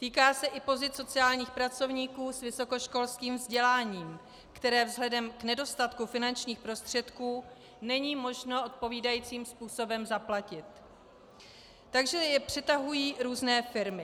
Týká se i pozic sociálních pracovníků s vysokoškolským vzděláním, které vzhledem k nedostatku finančních prostředků není možno odpovídajícím způsobem zaplatit, takže je přetahují různé firmy.